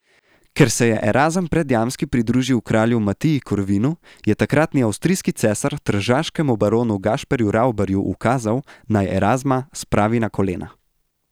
Ker se je Erazem Predjamski pridružil kralju Matiji Korvinu, je takratni avstrijski cesar tržaškemu baronu Gašperju Ravbarju ukazal, naj Erazma spravi na kolena.